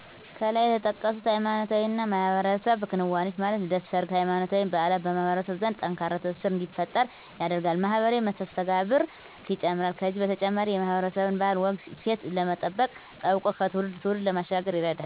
ከላይ የተጠቀሱት ሃይማኖታዊና የማህበረሰብ ክንዋኔዎች ማለት ልደት፣ ሰርግ፣ ሃይማኖታዊ በዓላት በማህበረሰብ ዘንድ ጠንካራ ትስስር እንዲፈጠር ያደርጋል፣ ማህበራዊ መስተጋብርን ይጨምራል ከዚህ በተጨማሪ የማህበረሰብን ባህል፣ ወግ፣ እሴት ለመጠበቅ ጠብቆም ከትውልድ ትውልድ ለማሸጋገር ይረዳል።